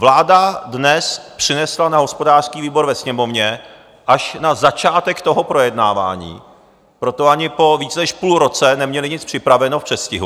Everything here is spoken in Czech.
Vláda dnes přinesla na hospodářský výbor ve Sněmovně až na začátek toho projednávání, proto ani po více než půl roce neměli nic připraveno v předstihu.